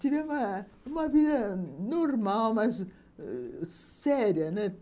Tinha uma uma vida normal, mas séria, né?